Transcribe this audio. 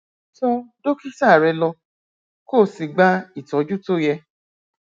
tọ dókítà rẹ lọ kó o sì gba ìtọjú tó yẹ